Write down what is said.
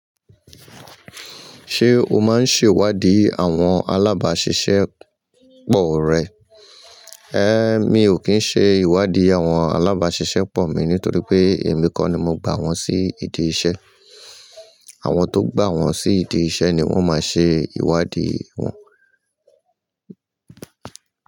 Ṣé o máa ń ṣe ìwádìí àwọn alábàáṣiṣẹ́ pọ̀ rẹ? Ẹ́, mi ò kí ń ṣe ìwádìí àwọn alábáṣiṣẹ́ pọ̀ mi nítorí pé èmi kọ́ ni mo gbà wọ́n sí ìdí iṣẹ́. Àwọn tó gbà wọ́n sí ìdí iṣẹ́ ni wọ́n máa ṣe ìwádìí wọn.